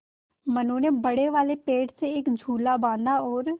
मनु ने बड़े वाले पेड़ से एक झूला बाँधा है और